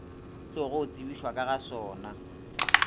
tlogo tsebišwa ka ga sona